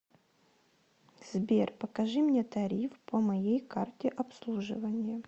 сбер покажи мне тариф по моей карте обслуживания